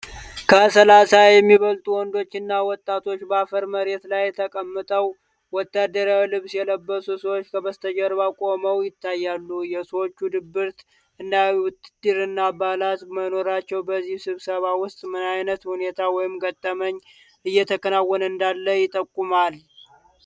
ከ30 የሚበልጡ ወንዶችና ወጣቶች በአፈር መሬት ላይ ተቀምጠው፣ ወታደራዊ ልብስ የለበሱ ሰዎች ከበስተጀርባ ቆመው ይታያሉ፤ የሰዎቹ ድብርት እና የውትድርና አባላት መኖራቸው በዚህ ስብስብ ውስጥ ምን አይነት ሁኔታ ወይም ገጠመኝ እየተከናወነ እንዳለ ይጠቁማል?